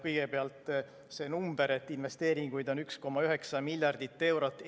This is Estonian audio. Kõigepealt, see number, et investeeringuid on 1,9 miljardit eurot.